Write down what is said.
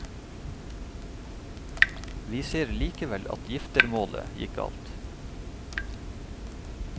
Vi ser likevel at giftermålet gikk galt.